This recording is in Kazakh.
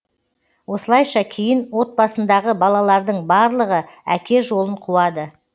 осылайша кейін отбасындағы балалардың барлығы әке жолын қуады